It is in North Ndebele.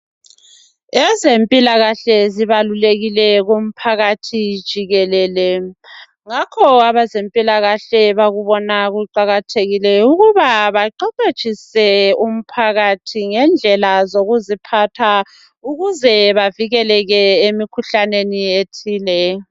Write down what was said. Ezempilakahle zibalulekile kumphakathi jikelele, ngakho abezempilakahle bakubona kuqakathekile ukuba baqeqetshise umphakathi ngendlela zokuziphatha ukuze bavikeleke emikhuhlaneni ethile.